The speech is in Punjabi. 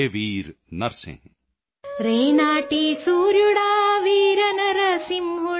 ਹੇ ਵੀਰ ਨਰਸਿੰਹ